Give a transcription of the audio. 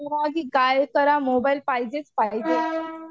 काय करा मोबाईल पाहिजेच पाहिजेच